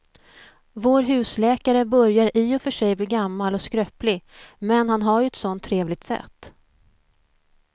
Vår husläkare börjar i och för sig bli gammal och skröplig, men han har ju ett sådant trevligt sätt!